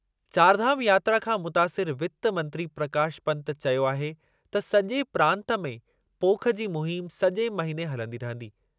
चारधाम यात्रा खां मुतासिरु वित्त मंत्री प्रकाश पन्त चयो आहे त सॼे प्रांतु में पोख जी मुहिम सॼे महिने हलंदी रहंदी।